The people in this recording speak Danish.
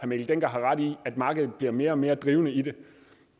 mikkel dencker har ret i at markedet bliver mere og mere drivende i det